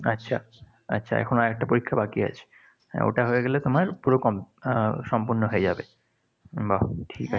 আচ্ছা, আচ্ছা এখনো একটা পরীক্ষা বাকি আছে। ওটা হয়ে গেলে তোমার পুরো কম আহ সম্পন্ন হয়ে যাবে। বাহ, ঠিক আছে,